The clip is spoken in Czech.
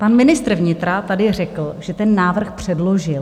Pan ministr vnitra tady řekl, že ten návrh předložil.